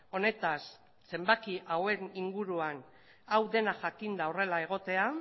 honetaz zenbaki hauen inguruan hau dena jakinda horrela egotea